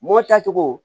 N ko tacogo